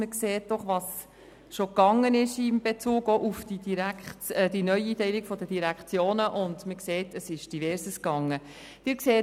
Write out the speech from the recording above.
Man sieht, dass in Bezug auf die Neueinteilung der Direktionen bereits Verschiedenes gelaufen ist.